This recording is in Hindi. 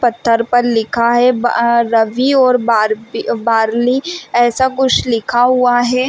पत्थर पर लिखा है ब अ रवि और बार्बी अ बार्ली ऐसा कुछ लिखा हुआ है।